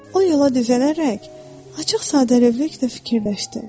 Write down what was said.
O yola düzələrək açıq-sadəlövlükdə fikirləşdi: